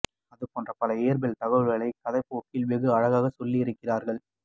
அதுபோன்ற பல இயற்பியல் தகவல்களை கதையின் போக்கில் வெகு அழகாக சொல்லி இருக்கிறீர்கள்